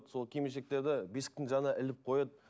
сол киім кешектерді бесіктің жанына іліп қояды